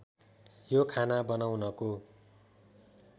यो खाना बनाउनको